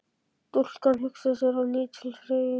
Stúlkan hugsar sér á ný til hreyfings.